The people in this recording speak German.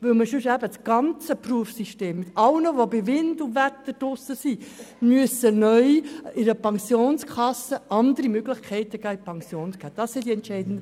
Sonst müsste man das gesamte Berufssystem für alle, die bei Wind und Wetter draussen sind, ändern und diesen andere Möglichkeiten für die Pensionierung geben.